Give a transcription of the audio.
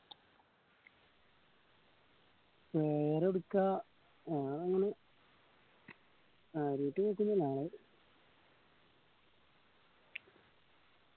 വേറെ എവെടുക്ക കാര്യായിട്ട് പോകോന്നില്ല